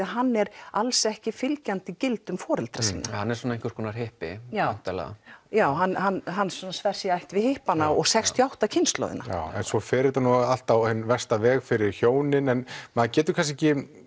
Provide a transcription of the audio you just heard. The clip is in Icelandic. hann er alls ekki fylgjandi gildum foreldra sinna hann er einhvers konar hippi væntanlega já hann hann hann sver sig í ætt við hippana og sextíu og átta kynslóðina svo fer þetta allt á hinn versta veg fyrir hjónin en maður getur kannski ekki